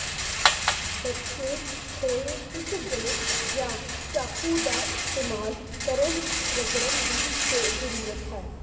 ਬਚੇ ਹੋਏ ਇੱਕ ਗ੍ਰੇਟ ਜਾਂ ਚਾਕੂ ਦਾ ਇਸਤੇਮਾਲ ਕਰਕੇ ਰਗੜਨ ਦੀ ਜ਼ਰੂਰਤ ਹੈ